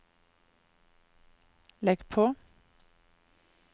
legg på